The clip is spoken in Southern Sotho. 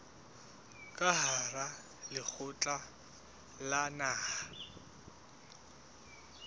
ka hara lekgotla la naha